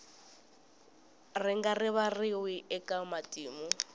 ri nga rivariwi eka matimu